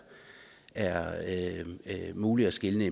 er muligt at skelne